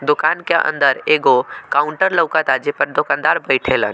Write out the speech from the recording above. दोकान के अंदर एगो काउंटर लोकाता जे पर दुकानदार बैठेला ।